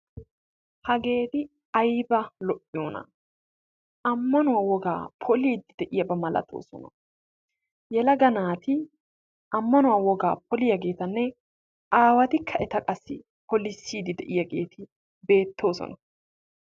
Hageeti ayba lo"iyona ammanuwa woga poliiddi de'iyaba malatoosona. Yelaga naati ammanuwa wogaa poliyageetanne aawatikka eta qassi polissiddi de'iyageeti beettoosona.